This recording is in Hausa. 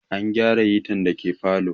An gyara hitar da ke parlour